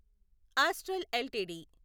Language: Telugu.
astral LTD